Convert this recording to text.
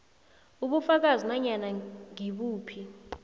ubufakazi nanyana ngibuphi